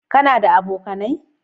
Ka na da abokanai?